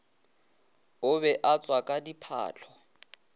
o be a tswaka diphahlo